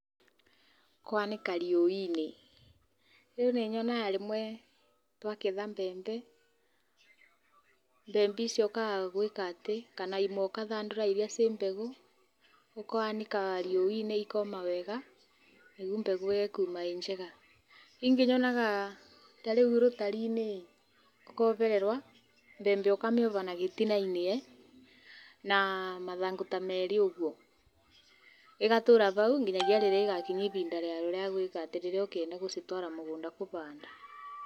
Kwanĩka riũwa-inĩ no nĩyonaga rĩmwe magetha mbembe, mbembe icio icokaga kana imwe ũgathandũra iria irĩ mbegũ. Ũkanĩka riũwa-inĩ cikoma wega nĩguo mbegũ ĩrĩa ĩkuma ĩkuma ĩ njega. Ingĩ yonaga rutari-inĩ ikohererwo mbembe ũkamĩoha na gĩtina-inĩ na mathangũ ta merĩ ũguo ĩgatũra hau nginyagia rĩrĩa ĩgakinya ihinda rĩayo rĩa gũcitwara mũgũnda kũhanda.